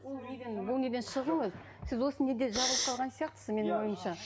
бұл неден шығыңыз сіз осы неде жалғыз қалған сияқтысыз менің ойымша